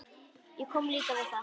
Ég kom líka við það.